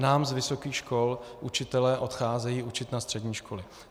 Nám z vysokých škol učitelé odcházejí učit na střední školy.